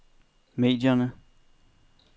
medierne